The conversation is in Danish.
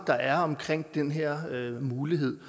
der er omkring den her mulighed